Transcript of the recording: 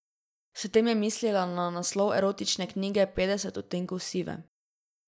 S tem je mislila na naslov erotične knjige Petdeset odtenkov sive.